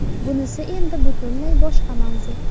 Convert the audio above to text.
Bunisi endi butunlay boshqa mavzu.